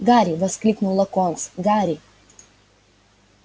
гарри воскликнул локонс гарри